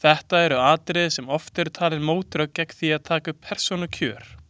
Þetta eru atriði sem oft eru talin mótrök gegn því að taka upp persónukjör.